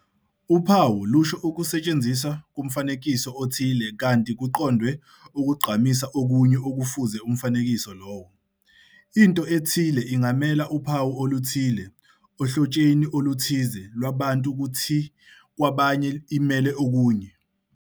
Uphawu lusho ukusetshenziswa komfanekiso othile kanti kuqondwe ukugqamisa okunye okufuze umfanekiso lowo. Into ethile ingamela uphawu oluthile ohlotsheni oluthize Iwabantu kuthi kwabanye imele okunye.